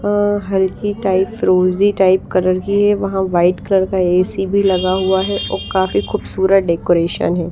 अ हल्की टाइप फ्रोजी type colour की है वहां वाइट कलर का एसी भी लगा हुआ है और काफी खूबसूरत डेकोरेशन है।